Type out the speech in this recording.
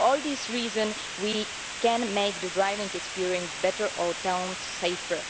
For all these reasons, we can make the driving experience better and our towns safer.